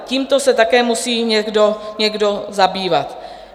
Tímto se také musí někdo zabývat.